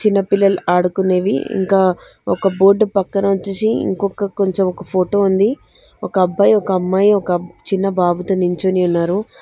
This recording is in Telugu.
చిన్న పిల్లలు ఆడుకునేవి ఇంకా ఒక బోర్డ్ పక్కన వచ్చేసి ఇంకొక కొంచెం ఒక ఫోటో ఉంది ఒక అబ్బాయి ఒక అమ్మాయి ఒక చిన్న బాబుతో నించొని ఉన్నారు.